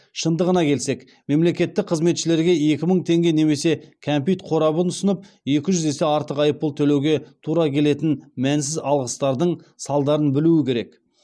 шындығына келсек мемлекеттік қызметшілерге екі мың теңге немесе кәмпит қорабын ұсынып екі жүз есе артық айыппұл төлеуге тура келетін мәнсіз алғыстардың салдарын білу керек